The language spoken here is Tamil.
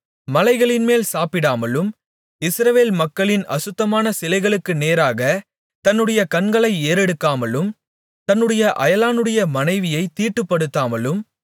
மலைகளின்மேல் சாப்பிடாமலும் இஸ்ரவேல் மக்களின் அசுத்தமான சிலைகளுக்கு நேராகத் தன்னுடைய கண்களை ஏறெடுக்காமலும் தன்னுடைய அயலானுடைய மனைவியைத் தீட்டுப்படுத்தாமலும்